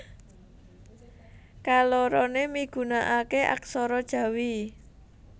Kaloroné migunakaké aksara Jawi